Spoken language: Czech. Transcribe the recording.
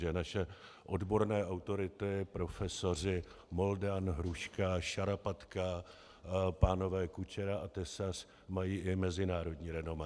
Že naše odborné autority, profesoři Moldan, Hruška, Šarapatka, pánové Kučera a Tesař mají i mezinárodní renomé.